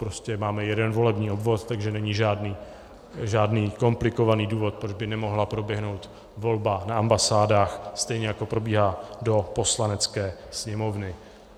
Prostě máme jeden volební obvod, takže není žádný komplikovaný důvod, proč by nemohla proběhnout volba na ambasádách stejně, jako probíhá do Poslanecké sněmovny.